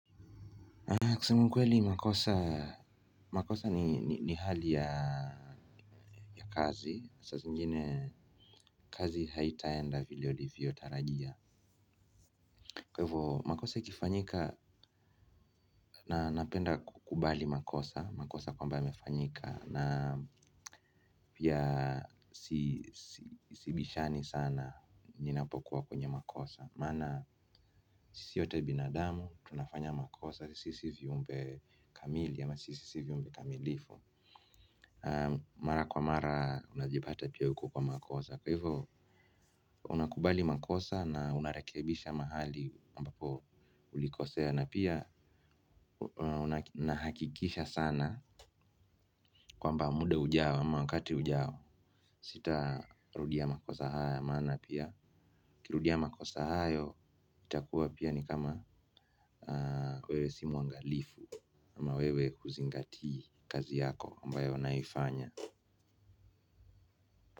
Kusema kweli, makosa ni hali ya kazi. Saa zingine, kazi haitaenda vile ulivyo tarajia. Kwa hivyo, makosa ikifanyika, napenda kukubali makosa. Makosa kwamba yamefanyika, na pia sibishani sana ninapokuwa kwenye makosa. Maana, sisi wote binadamu, tunafanya makosa, sisi sio viumbe kamili, ama sisi sio viumbe kamilifu. Mara kwa mara unajipata pia uko kwa makosa kwa hivyo unakubali makosa na unarekebisha mahali ambapo ulikosea na pia unahakikisha sana kwamba muda ujao ama wakati ujao sitarudia makosa haya maana pia ukirudia makosa hayo itakuwa pia ni kama wewe si muangalifu. Ama wewe huzingatii kazi yako ambayo unaifanya.